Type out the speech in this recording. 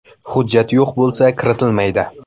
Hujjat yo‘q bo‘lsa, kiritilmaydi.